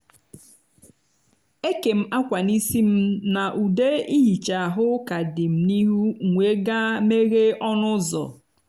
e kèm akwa n’isi m na ude ihicha ahụ ka dị n’ihu m m wee gaa meghee ọnụ ụzọ